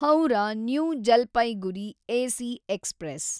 Howrah New Jalpaiguri AC express